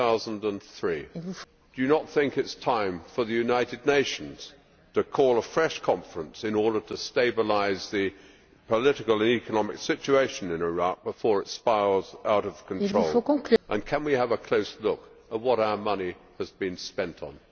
2003. Do you not think it is time for the United Nations to call a fresh conference in order to stabilise the political and economic situation in Iraq before it spirals out of control, and can we have a close look at what our money has been spent on?